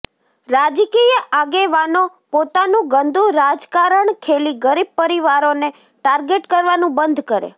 રાજકીય આગેવાનો પોતાનું ગંદુ રાજકારણ ખેલી ગરીબ પરિવારોને ટાર્ગેટ કરવાનું બંધ કરે